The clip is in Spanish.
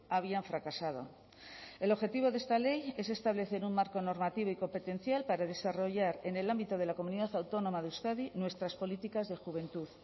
habían fracasado el objetivo de esta ley es establecer un marco normativo y competencial para desarrollar en el ámbito de la comunidad autónoma de euskadi nuestras políticas de juventud